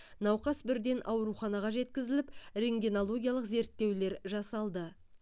науқас бірден ауруханаға жеткізіліп рентгенологиялық зерттеулер жасалды